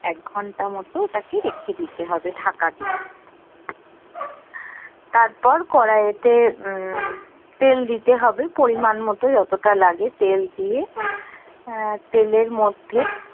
এক ঘন্টা মতো ওটাকে রেখে দিতে হবে ঢাকা দিয়ে তারপর কড়াইতে উম তেল দিতে হবে পরিমান মতো যতটা লাগে তেল দিয়ে আহ তেলের মধ্যে